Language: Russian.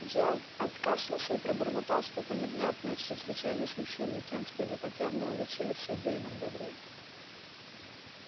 джералд откашлялся и пробормотал что-то невнятное чрезвычайно смущённый тем что его так явно уличили в содеянном добре